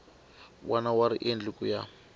wana wa riendli ku ya